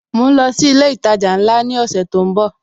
Mo ń lọ sí ilé ìtajà ńlá ni ọ̀sẹ̀ tó ń bò